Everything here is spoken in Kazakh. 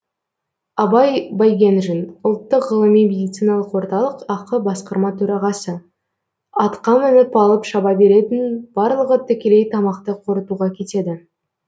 абай байгенжин ұлттық ғылыми медициналық орталық ақ басқарма төрағасы атқа мініп алып шаба беретін барлығы тікелей тамақты қорытуға кетеді